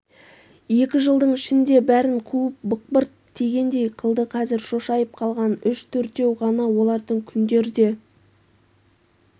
екі жылдың ішінде бәрін қуып бықпырт тигендей қылды қазір шошайып қалған үш-төртеу ғана олардың күндер де